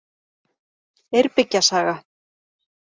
Eyrbyggja saga.